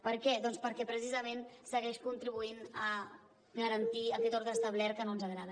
per què doncs perquè precisament segueix contribuint a garantir aquest ordre establert que no ens agrada